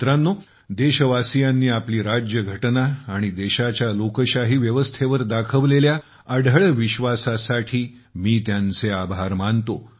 मित्रांनो देशवासीयांनी आपली राज्यघटना आणि देशाच्या लोकशाही व्यवस्थेवर दाखवलेल्या अढळ विश्वासासाठी मी त्यांचे आभार मानतो